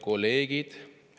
Head kolleegid!